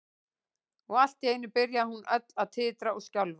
Og allt í einu byrjaði hún öll að titra og skjálfa.